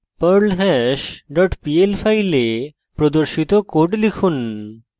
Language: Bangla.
perlhash dot pl file প্রদর্শিত code লিখুন